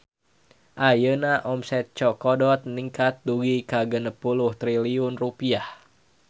Ayeuna omset Chokodot ningkat dugi ka 60 triliun rupiah